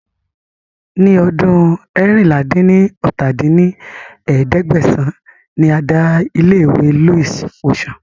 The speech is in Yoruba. Ni ọdún eérinlá-dín-ní-ọ́ta dín ní ẹ̀ẹ́dẹ́gbẹ́sán ni a dá ilé iṣẹ́ Louis Vuitton